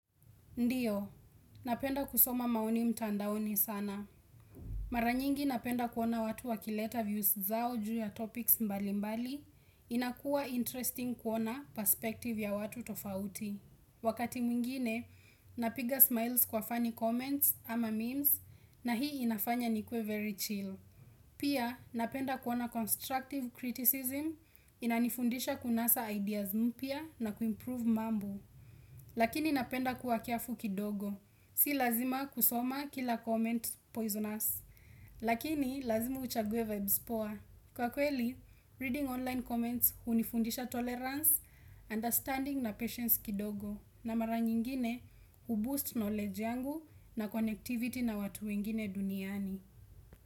Ndio, napenda kusoma maoni mtandaoni sana. Mara nyingi napenda kuona watu wa kileta views zao juu ya topics mbali mbali, inakuwa interesting kuona perspective ya watu tofauti. Wakati mwingine, napiga smiles kwa funny comments ama memes na hii inafanya nikuwe very chill. Pia, napenda kuona constructive criticism, inanifundisha kunasa ideas mpya na kuimprove mambo. Lakini napenda kuwa kiafu kidogo. Si lazima kusoma kila comment poisonous. Lakini lazima uchague vibes poor. Kwa kweli, reading online comments unifundisha tolerance, understanding na patience kidogo. Na mara nyingine uboost knowledge yangu na connectivity na watu wengine duniani.